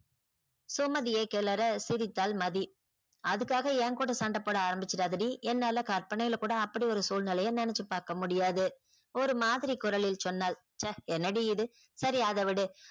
சுமதியை கிளர சிரித்தாள் மதி அதுக்காக என் கூட சண்ட போட அரம்பிச்சிராத டி என்னால கற்பனையில கூட அப்படி ஒரு சுழ்நிலைய நெனச்சி பாக்க முடியாது. ஒரு மாதிரி குரலில் சொன்னாள். ச்ச என்னடி இது சரி அத விடு